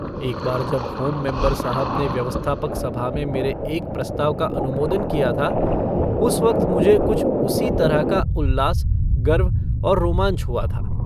एक बार जब होम मेम्बर साहब ने व्यवस्थापक सभा में मेरे एक प्रस्ताव का अनुमोदन किया था उस वक्त मुझे कुछ उसी तरह का उल्लास गर्व और रोमांच हुआ था।